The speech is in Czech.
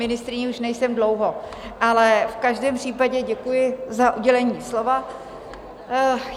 Ministryní už nejsem dlouho, ale v každém případě děkuji za udělení slova.